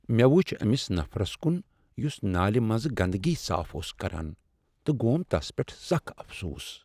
مےٚ وچھ أمس نفرس کن یس نالہ منزٕ گندٕگی صاف کران اوس تہٕ گوم تس پیٹھ سکھ افسوس۔